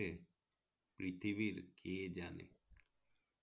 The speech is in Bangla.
পৃথিবীর কে জানে